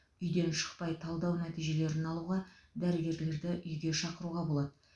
үйден шықпай талдау нәтижелерін алуға дәрігерлерді үйге шақыруға болады